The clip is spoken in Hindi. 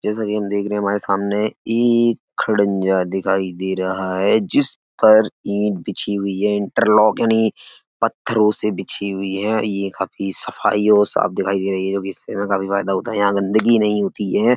जैसा कि हम देख रहे हैं हमारे सामने एक खडंजा दिखाई दे रहा है जिस पर ईंट बिछी हुई है। इंटरलॉक यानि पत्थरों से बिछी हुई है ये काफी सफाई और साफ दिखाई दे रही है जोकि इससे हमें काफ़ी फायदा होता है। यहाँ गंदगी नहीं होती है।